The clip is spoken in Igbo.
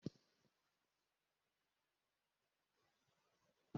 Ndị isi ụlọ ga-ahụ maka ọdịmma nke ndị niile bi na ya.